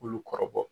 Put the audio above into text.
Olu kɔrɔbɔ